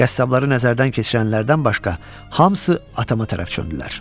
Qəssabları nəzərdən keçirənlərdən başqa hamısı atama tərəf çöndülər.